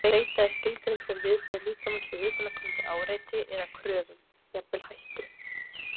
Streita er skilgreind sem viðbrögð líkamans við utanaðkomandi áreiti eða kröfum, jafnvel hættu.